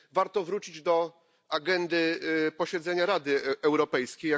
Warto wrócić do agendy posiedzenia Rady Europejskiej.